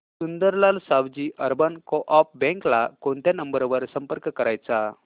Sundarlal Savji urban coop bank ला कोणत्या number वर संपर्क करायचा